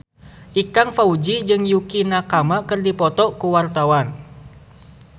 Ikang Fawzi jeung Yukie Nakama keur dipoto ku wartawan